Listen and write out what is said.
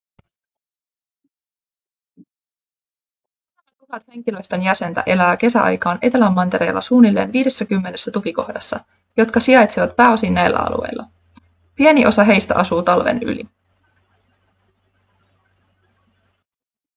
muutama tuhat henkilöstön jäsentä elää kesäaikaan etelämantereella suunnilleen viidessäkymmenessä tukikohdassa jotka sijaitsevat pääosin näillä alueilla pieni osa heistä asuu talven yli